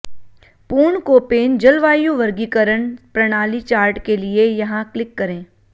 पूर्ण कोपेन जलवायु वर्गीकरण प्रणाली चार्ट के लिए यहां क्लिक करें